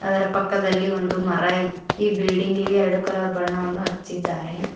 ಇದರ ಪಕ್ಕದಲ್ಲಿ ಒಂದು ಮರ ಇ ಈ ಬಿಲ್ಡಿಂಗ್ ಇಗೆ ಎರಡು ಕಲರ್ ಬಣ್ಣವನ್ನು ಹಚ್ಚಿದ್ದಾರೆ.